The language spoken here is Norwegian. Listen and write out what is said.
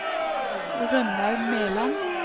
Rønnaug Meland